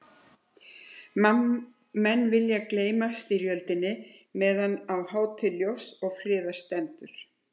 Menn vilja gleyma styrjöldinni meðan á hátíð ljóss og friðar stendur.